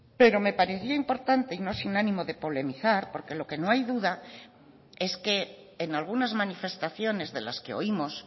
pero me parecía importante y no sin ánimo de polemizar porque lo que no hay duda es que en algunas manifestaciones de las que oímos